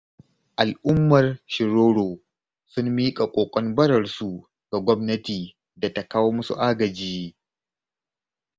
Al'ummar Shiriro sun miƙa ƙoƙon bararsu ga gwamnata da ta kawo musu agaji.